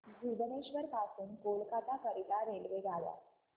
भुवनेश्वर पासून कोलकाता करीता रेल्वेगाड्या